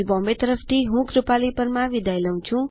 ભાષાંતર અને રેકોર્ડીંગ કરનાર હું શિવાની વિદાય લઉં છુંઆભાર